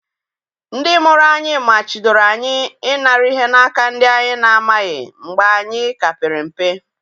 Ndị mụrụ anyị machidoro anyị ị nara ihe na aka ndị anyị na-amaghị mgbe anyị ka pere mpe.